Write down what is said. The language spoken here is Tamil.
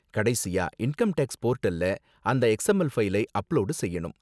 கடைசியா இன்கம் டேக்ஸ் போர்டல்ல அந்த எக்ஸ்எம்எல் ஃபைலை அப்லோடு செய்யணும்.